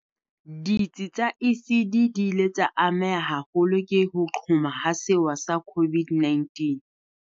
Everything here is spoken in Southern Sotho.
Ditsi tsa ECD di ile tsa ameha haholo ke ho qhoma ha sewa sa COVID-19.